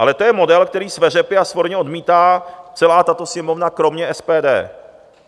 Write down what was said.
Ale to je model, který sveřepě a svorně odmítá celá tato Sněmovna kromě SPD.